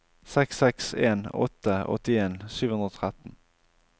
seks seks en åtte åttien sju hundre og tretten